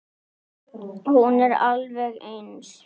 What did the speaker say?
Hún er alveg eins.